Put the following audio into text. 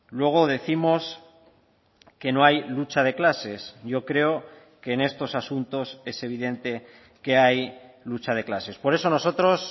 luego décimos que no hay lucha de clases yo creo que en estos asuntos es evidente que hay lucha de clases por eso nosotros